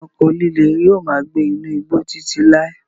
Ẹranko líle yóò máa gbé inú igbó Títí láí.